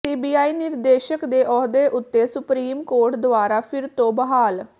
CBI ਨਿਰਦੇਸ਼ਕ ਦੇ ਅਹੁਦੇ ਉਤੇ ਸੁਪ੍ਰੀਮ ਕੋਰਟ ਦੁਆਰਾ ਫਿਰ ਤੋਂ ਬਹਾਲ